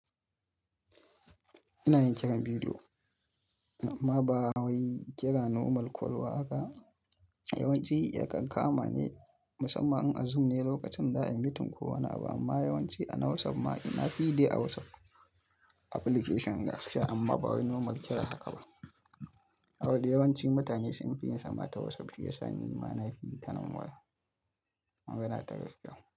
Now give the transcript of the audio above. Ina yin kiran bidiyo amma ba wai kira normal kwal ba haka. Yawanci ya kan kama ne musamman a Zoom ne lokacin za a yi meeting ko wani abu amma yawanci a na WhatsApp ma ina fi yi dai a WhatsApp application gaskiya amma ba wai normal kira haka ba. Saboda yawanci mutane sun fi yin sama ta WhatsApp shi ya sa nima na fi yi tana waya. Magana ta gaskiya.